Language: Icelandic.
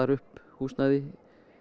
upp húsnæði